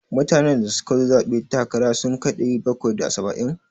Mutanen da suka zaɓe dan takara ki sun kai ɗari bakwai da saba'in?